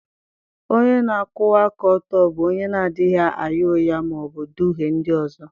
Onye na-akwụwa aka ọtọ bụ onye na-adịghị agha ụgha ma ọ bụ duhie ndị ọzọ.